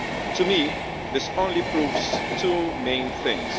To me, this only proves two main things.